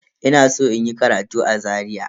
Ina san inyi karatu a Zaria.